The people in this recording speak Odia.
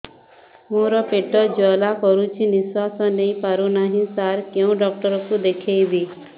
ମୋର ପେଟ ଜ୍ୱାଳା କରୁଛି ନିଶ୍ୱାସ ନେଇ ପାରୁନାହିଁ ସାର କେଉଁ ଡକ୍ଟର କୁ ଦେଖାଇବି